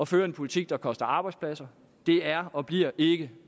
føre en politik der koster arbejdspladser det er og bliver ikke